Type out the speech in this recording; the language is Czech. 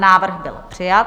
Návrh byl přijat.